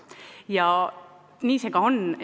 Paraku nii see ka on.